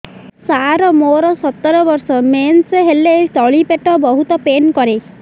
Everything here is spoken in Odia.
ସାର ମୋର ସତର ବର୍ଷ ମେନ୍ସେସ ହେଲେ ତଳି ପେଟ ବହୁତ ପେନ୍ କରେ